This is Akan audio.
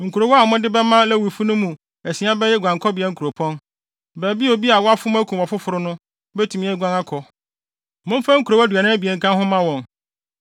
“Nkurow a mode bɛma Lewifo no no mu asia bɛyɛ guankɔbea nkuropɔn, baabi a obi a wafom akum ɔfoforo no, betumi aguan akɔ. Momfa nkurow aduanan abien nka ho mma wɔn.